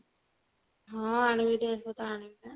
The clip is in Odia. ହଁ ଆଣିବି dress ପତ୍ର ଆଣିବି ବା।